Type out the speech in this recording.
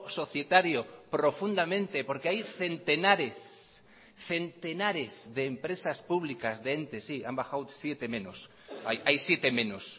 societario profundamente porque hay centenares centenares de empresas públicas de entes sí han bajado siete menos hay siete menos